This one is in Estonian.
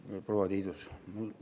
Aitäh, proua Tiidus!